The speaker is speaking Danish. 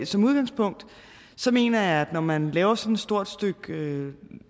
som udgangspunkt mener jeg at når man laver sådan et stort stykke